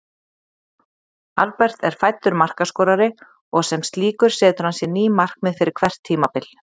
Albert er fæddur markaskorari og sem slíkur setur hann sér ný markmið fyrir hvert tímabil.